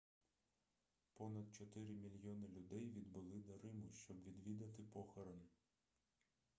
понад чотири мільйони людей відбули до риму щоб відвідати похорон